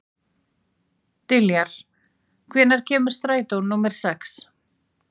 Diljar, hvenær kemur strætó númer sex?